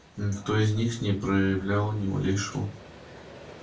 никто из них не проявлял ни малейшего